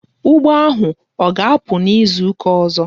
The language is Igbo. Ụgbọ ahụ ọ ga-apụ n'izuka ọzọ?